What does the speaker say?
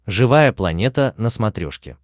живая планета на смотрешке